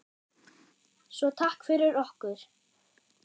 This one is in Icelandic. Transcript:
Svo takk fyrir okkur.